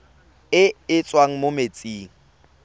e e tswang mo metsing